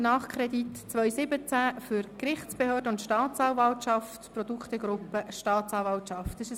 Nachkredit 2017 für die Gerichtsbehörden und die Staatsanwaltschaft, Produktegruppe Staatsanwaltschaft.